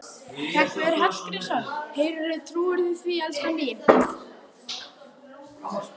Hreggviður Hallgrímsson: Heyrðu, trúirðu því, elskan mín?